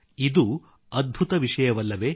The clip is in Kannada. ಇದು ಅದ್ಭುತ ವಿಷಯವಲ್ಲವೇ